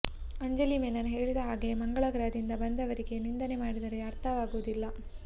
ಅಂಜಲಿ ಮೆನನ್ ಹೇಳಿದ ಹಾಗೆ ಮಂಗಳ ಗ್ರಹದಿಂದ ಬಂದವರಿಗೆ ನಿಂದನೆ ಮಾಡಿದರೆ ಅರ್ಥ ಆಗುವುದಿಲ್ಲ